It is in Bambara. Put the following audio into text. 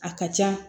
A ka ca